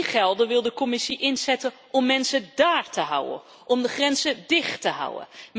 Die gelden wil de Commissie inzetten om mensen dáár te houden, om de grenzen dicht te houden.